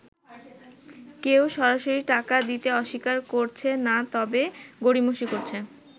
কেউ সরাসরি টাকা দিতে অস্বীকার করছে না তবে গড়িমসি করছে।